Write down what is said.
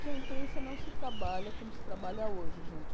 que a imprensa não se trabalha como se trabalha hoje, gente.